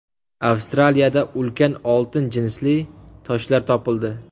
Avstraliyada ulkan oltin jinsli toshlar topildi.